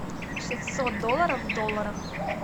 шестьсот долларов в долларах